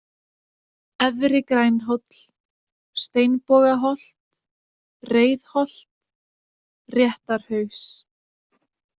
Efri-Grænhóll, Steinbogaholt, Reiðholt, Réttarhaus